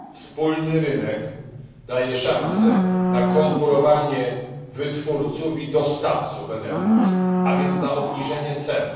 Wspólny rynek daje szanse na konkurowanie wytwórców i dostawców energii, a więc na obniżenie cen.